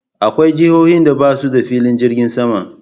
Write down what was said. Akwai jihohin da basu da filin jirgin sama.